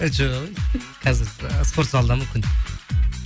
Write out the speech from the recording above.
і жоқ ей қазір ы спорт залдамын күнде